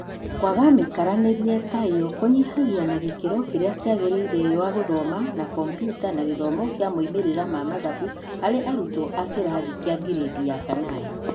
Kwaga mĩikaranĩrie ta ĩyo kũnyihagia na gĩkĩro kĩrĩa kĩagĩrĩire wa gũthoma na Kambiuta na gĩthomo kĩa moimĩrĩra ma mathabu harĩ arutwo a kĩrathi kĩa ngirĩndi ya kanana.